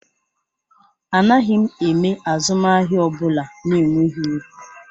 Anaghị m eme azụmahịa ọ bụla na-enweghị uru